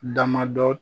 Damadɔ